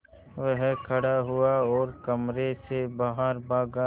वह खड़ा हुआ और कमरे से बाहर भागा